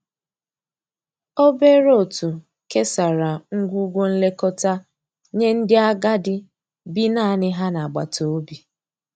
obere otu kesara ngwugwo nlekọta nye ndi agadi bi naani ha n'agbata obi.